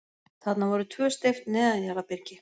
Þarna voru tvö steypt neðanjarðarbyrgi.